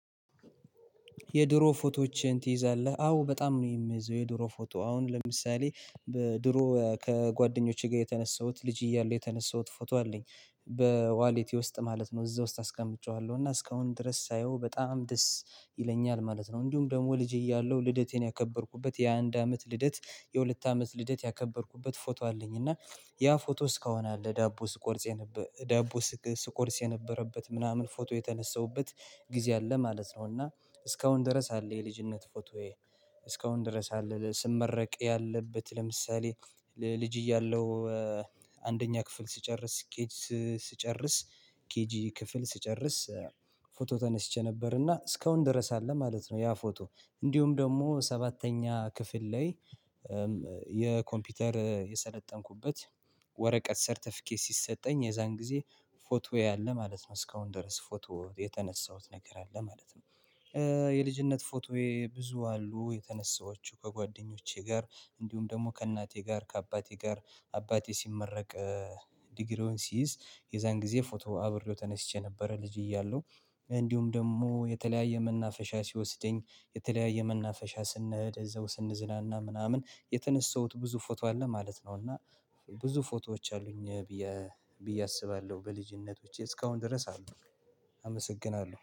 የድሮ ፎቶዎችን ትይዛለህ አዎ በጣም ነው። የምይዘው የድሮ ፎቶ አሁን ለምሳሌ ድሮ ከጓደኞቼ ጋር የተነሳሁት ልጅ እያለሁ የተነሳሁት ፎቶ አለኝ በዋሌቴ ውስጥ ማለት ነው እዛ ውስጥ አስቀምጬዋለሁ እና እስካሁን ድረስ ሳየው በጣም ደስ ይለኛል ማለት ነው። እንዲሁም ደግሞ ልጅ እያለሁ ልደቴን ያከበርኩበት የአንድ አመት ልደት የሁለት አመት ልደት ያከበርኩበት ፎቶ አለኝ እና ያ ፎቶስ እስካሁን አለ ዳቦ ስቆርስ የነበረው የነበረበት ምናምን ፎቶ የተነሳሁበት ጊዜ አለ ማለት ነው። እና እስካሁን ድረስ አለ የልጅነት ፎቶዬ እስካሁን ድረስ አለ ስመረቅ ያለበት ለምሳሌ ልጅ እያለሁ አንደኛ ክፍል ስጨርስ ኬጂ ስጨርስ ኬጂ ክፍል ስጨርስ ፎቶ ተነስቼ ነበርና እስካሁን ድረስ አለ ማለት ነው። ያ ፎቶ እንዲሁም ደግሞ ሰባተኛ ክፍል ላይ የኮምፒውተር የሰለጠንኩበት ወረቀት ሰርተፊኬት ሲሰጠኝ የዛን ጊዜ ፎቶዬ አለ ማለት ነው እስካሁን ድረስ ፎቶ የተነሳሁት ነገር አለ ማለት ነው። የልጅነት ፎቶዬ ብዙ አሉ የተነሳኋቸው ከጓደኞቼ ጋር እንዲሁም ደግሞ ከእናቴ ጋር ከአባቴ ጋር አባቴ ሲመረቅ ዲግሪውን ሲይዝ የዛን ጊዜ ፎቶ አብሬው ተነስቼ ነበር። ልጅ እያለሁ እንዲሁም ደግሞ የተለያዩ መናፈሻዎች ሲወስደኝ የተለያዩ መናፈሻዎች ስንሄድ እዛው ስንዝናና ምናምን የተነሳሁት ብዙ ፎቶ አለ ማለት ነው። እና ብዙ ፎቶዎች አሉኝ ብዬ አስባለሁ በልጅነቴ እስካሁን ድረስ አልጠፉም። አመሰግናለሁ